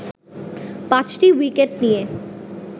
পাঁচটি উইকেট নিয়ে